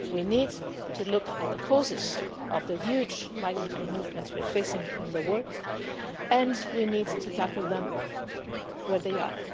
We need to look at the causes of the huge migratory movements we're facing in the world, and we need to tackle them where they are.